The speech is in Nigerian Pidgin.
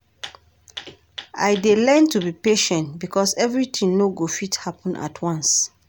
I dey learn to be patient because everything no go fit happen at once.